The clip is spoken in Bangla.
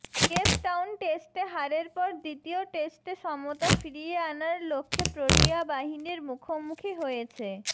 কেপ টাউন টেস্টে হারের পর দ্বিতীয় টেস্টে সমতা ফিরিয়ে আনার লক্ষ্যে প্রোটিয়া বাহিনীর মুখোমুখি হয়েছে